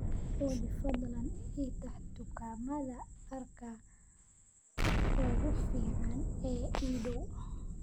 Olly fadlan ii tax dukaamada dharka ugu fiican ee ii dhow